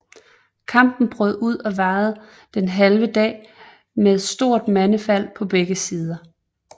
Kampen brød ud og varede den halve dag med stort mandefald på begge sider